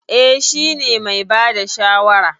Eh, shi ne mai bada shawara.